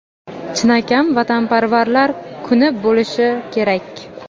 chinakam vatanparvarlar kuni bo‘lishi kerak!.